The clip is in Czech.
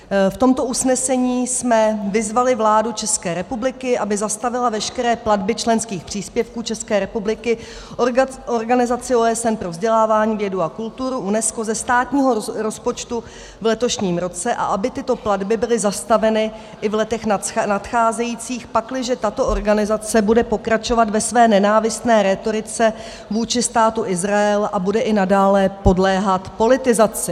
V tomto usnesení jsme vyzvali vládu České republiky, aby zastavila veškeré platby členských příspěvků České republiky organizaci OSN pro vzdělávání, vědu a kulturu UNESCO ze státního rozpočtu v letošním roce a aby tyto platby byly zastaveny i v letech nadcházejících, pakliže tato organizace bude pokračovat ve své nenávistné rétorice vůči Státu Izrael a bude i nadále podléhat politizaci.